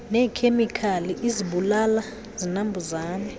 neekhemikali izibulala zinambuzane